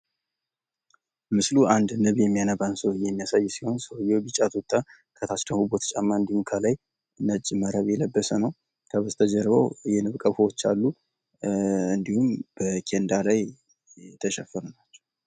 ምስሉ አንድ ንብ የሚያነባን ሰውዬ የሚያሳይ ሲሆን፤ ሰውዬው ቢጫ ቱታ፣ ከታች ደግሞ ቡትዝ ጫማ እንዲሁም ከላይ ነጭ መረብ የለበሰ ነው። ከበስተጀርባው የንብ ቀፎዎች አሉ። እንዲሁም በኬንዳ ላይ የተሸፈኑ ናቸው።